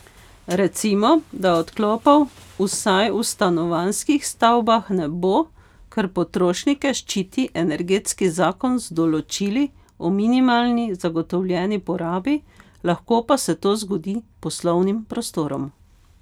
Recimo, da odklopov vsaj v stanovanjskih stavbah ne bo, ker potrošnike ščiti energetski zakon z določili o minimalni zagotovljeni porabi, lahko pa se to zgodi poslovnim prostorom.